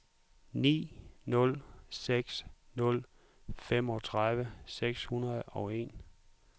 ni nul seks nul femogtredive seks hundrede og en